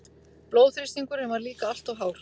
Blóðþrýstingurinn var líka alltof hár.